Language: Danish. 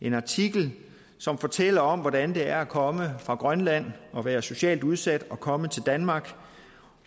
en artikel som fortæller om hvordan det er at komme fra grønland og være socialt udsat og komme til danmark